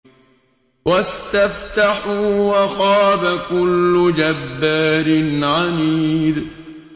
وَاسْتَفْتَحُوا وَخَابَ كُلُّ جَبَّارٍ عَنِيدٍ